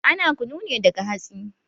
Ana kunu ne daga hatsi